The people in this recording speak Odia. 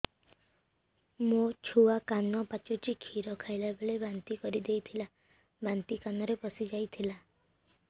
ମୋ ଛୁଆ କାନ ପଚୁଛି କ୍ଷୀର ଖାଇଲାବେଳେ ବାନ୍ତି କରି ଦେଇଥିଲା ବାନ୍ତି କାନରେ ପଶିଯାଇ ଥିଲା